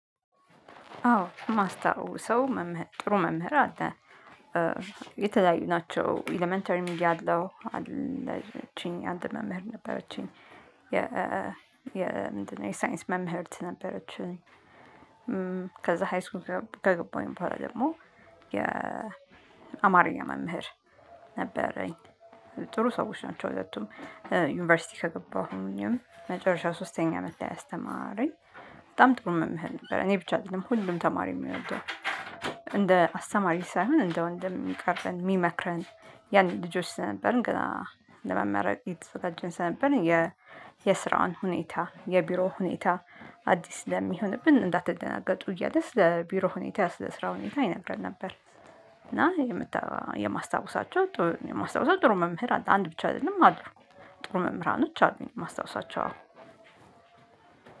አዎ የማስታውሰው ጥሩ መምህር አለ። የተለያዩ ናቸው። ኤለመንተሪም እያለሁ አለችኝ አንድ መምህር ነበረችኝ። የ የ ሳይንስ መምህርት ነበረችኝ። ከዛ ሃይስኩን ከገባሁኝ በኋላ ደግሞ የአማርኛ መምህር ነበረኝ፤ ጥሩ ሰዎች ናቸው ሁለቱም። ዩኒቨርሲቲ ከገባሁኝ መጨረሻ ሶስተኛ አመት ላይ ያስተማረኝ በጣም ጥሩ መምህር ነበር። እኔ ብቻ አይደለም ሁሉም ተማሪ የሚወደው። እንደ አስተማሪ ሳይሆን እንደ ወንድም የሚቀርብን የሚመክረን ያንን ልጆች ስለነበርን ገና ለመመረቅ እየተዘጋጀን ስለነበርን የ የስራውን ሁኔታ የቢሮ ሁኔታ አዲስ ለሚሆንብን እንዳትደነግጡ እያለ ስለ ቢሮ ሁኔታ ስለ ስራ ሁኔታ ይነግረን ነበር። እና የማስታወሳቸው የማስታወሳቸው ጥሩ መምህር አለ። አንድ ብቻ አይደለም አሉ። ጥሩ መምህራኖች አሉኝ ማስታወሳቸው።